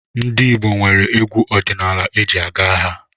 Ndị Igbo nwere egwu ọdinaala eji aga agha.